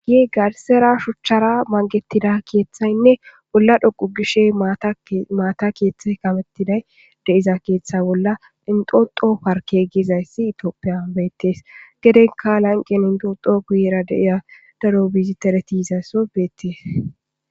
gie garsera shuchchara mangetida keeththaynne bolla dhoqu gishe maata keeththe kamettiday de7iza keeththe bolla inxoxo parke gezayssi itoopiyan beettees gedenka lanqen indodo guyera deiya daro biziteretiisa so beettees